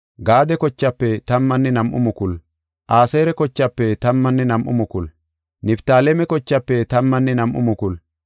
Aseera kochaafe tammanne nam7u mukulu, Niftaaleme kochaafe tammanne nam7u mukulu, Minaase kochaafe tammanne nam7u mukulu,